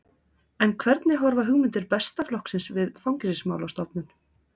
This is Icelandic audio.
En hvernig horfa hugmyndir Besta flokksins við Fangelsismálastofnun?